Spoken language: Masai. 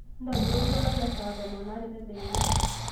ntobira oltuala le saa tomon oare tedekenya